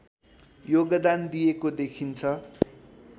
योगदान दिएको देखिन्छ